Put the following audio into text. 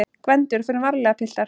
GVENDUR: Förum varlega, piltar!